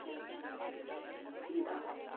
Ingi, hver er dagsetningin í dag?